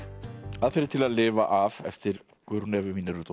aðferðir til að lifa af eftir Guðrúnu Evu